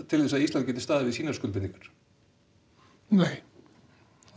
til að Ísland standi við sínar skuldbindingar nei